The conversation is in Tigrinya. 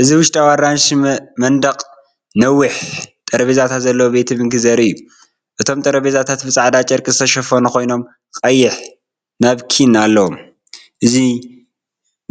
እዚ ውሽጣዊ ኣራንሺ መንደቕን ነዊሕ ጠረጴዛታትን ዘለዎ ቤት ምግቢ ዘርኢ እዩ። እቶም ጠረጴዛታት ብጻዕዳ ጨርቂ ዝተሸፈኑ ኮይኖም ቀይሕ ናፕኪን ኣለዎም። እዙይ